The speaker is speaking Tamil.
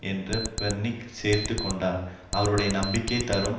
என்று பெர்னிக் சேர்த்து கொண்டார் அவருடைய நம்பிக்கை தரும்